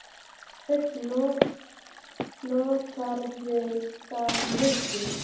Hödd: Notarðu það mikið?